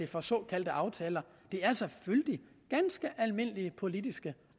for såkaldte aftaler det er selvfølgelig ganske almindelige politiske